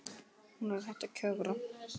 Hún er hætt að kjökra.